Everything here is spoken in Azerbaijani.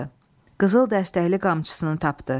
Qızıl dəstəkli qamçısını tapdı.